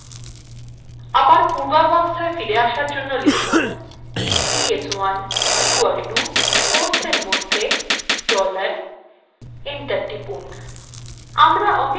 আবার পূর্বাবস্থায় আবার ফিরে আসার জন্য লিখুন ps1 equalto quotes এর মধ্যে dollar এবং enter টিপুন